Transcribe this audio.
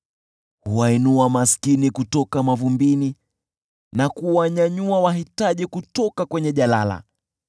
Huwainua maskini kutoka mavumbini, na kuwanyanyua wahitaji kutoka kwenye jalala,